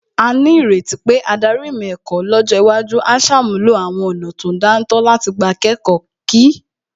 A ní ìrètí pé adarí ìmọ̀ ẹ̀kọ́ lọ́jọ́ iwájú á ṣàmúlò àwọn ọ̀nà tó dáńtọ́ láti gbà kẹ́kọ̀ọ́ kí